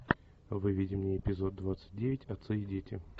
выведи мне эпизод двадцать девять отцы и дети